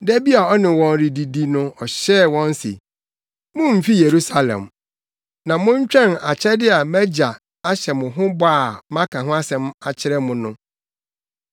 Da bi a ɔne wɔn redidi no ɔhyɛɛ wɔn se, “Mummfi Yerusalem, na montwɛn akyɛde a mʼAgya ahyɛ mo ho bɔ a maka ho asɛm akyerɛ mo no.